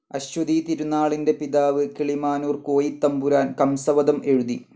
അശ്വതിതിരുനാളിന്റെ പിതാവ്‌ കിളിമാനൂർ കോയിത്തമ്പുരാൻ കംസവധം എഴുതി.